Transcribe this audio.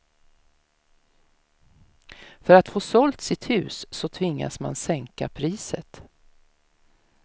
För att få sålt sitt hus så tvingas man sänka priset.